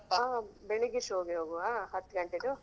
ಹಾ ಬೆಳಿಗ್ಗೆ show ಗೆ ಹೋಗ್ವ ಹತ್ತು ಗಂಟೆದ್ದು?